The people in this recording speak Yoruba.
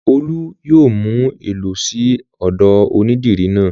Olú yóò mú ẹ lọ sí ọ̀dọ̀ onídìrí náà.